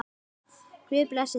Guð blessi þig og geymi.